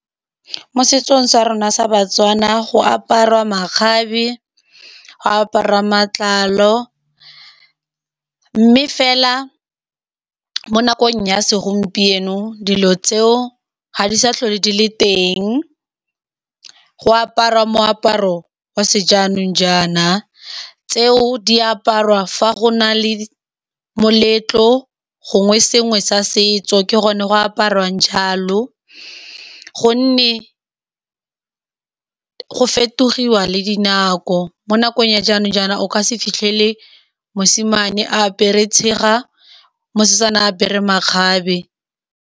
Mo setsong sa rona sa Batswana go apariwa makgabe, go apariwa matlalo, mme fela mo nakong ya segompieno dilo tseo ga di sa tlhole di le teng. Go apariwa moaparo wa sejanong jaana tseo di apariwa fa go na le moletlo gongwe sengwe sa setso, ke gone go apariwa jalo ka gonne go fetogiwa le dinako. Mo nakong ya jaanong jaana o ka se fitlhele mosimane a apere tshega, mosetsana a apere makgabe.